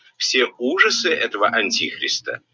все ужасы этого антихриста